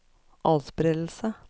atspredelse